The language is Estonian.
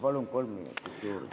Palun kolm minutit juurde!